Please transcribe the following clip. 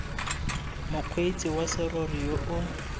mokgweetsi wa serori yo o